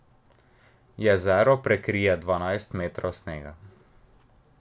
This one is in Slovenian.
Jezero prekrije dvanajst metrov snega.